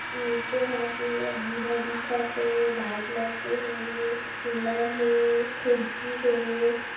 नीचे हा पूरा भूरा दिखत हे लात लरके हे रे कूलर हे खिड़की हे।